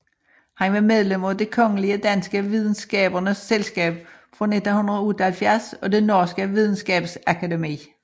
Han var medlem af Det kongelige danske Videnskabernes Selskab fra 1978 og det norske Videnskabsakademi